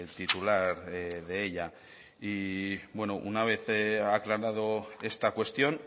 titular de ella y bueno una vez aclarada esta cuestión